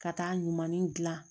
Ka taa ɲumanin gilan